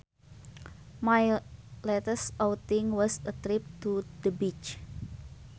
My latest outing was a trip to the beach